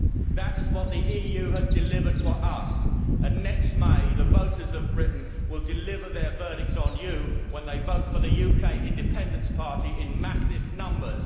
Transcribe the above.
That is what the EU has delivered for us, and next May the voters of Britain will deliver their verdicts on you, fellow Members, when they vote for the UK Independence Party in massive numbers.